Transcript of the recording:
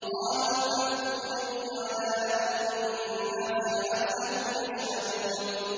قَالُوا فَأْتُوا بِهِ عَلَىٰ أَعْيُنِ النَّاسِ لَعَلَّهُمْ يَشْهَدُونَ